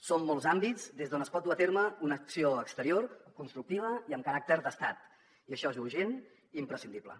són molts àmbits des d’on es pot dur a terme una acció exterior constructiva i amb caràcter d’estat i això és urgent i imprescindible